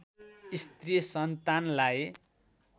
स्त्री सन्तानलाई